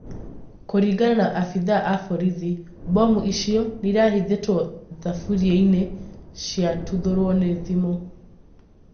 kũringana na abĩthaa a borithi, mbomu icio, irahithĩtwo thaburiaini ciratuthũrwo nĩ thimũ